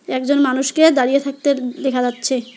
একজন মানুষকে দাঁড়িয়ে থাকতে দেখা যাচ্ছে।